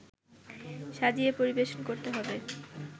সাজিয়ে পরিবেশন করতে হবে